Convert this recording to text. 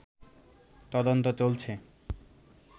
তদন্ত চলছে